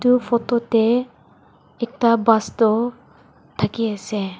Eu photo tey ekta bus tho dhake ase.